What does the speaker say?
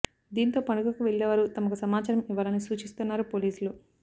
దీంతో పండగకు వేళ్లే వారు తమకు సమాచారం ఇవ్వాలని సూచిస్తున్నారు పోలీసులు